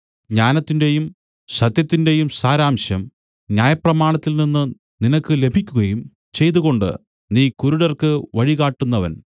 ജ്ഞാനത്തിന്റെയും സത്യത്തിന്റെയും സാരാംശം ന്യായപ്രമാണത്തിൽ നിന്നു നിനക്ക് ലഭിക്കുകയും ചെയ്തതുകൊണ്ടു നീ കുരുടർക്ക് വഴി കാട്ടുന്നവൻ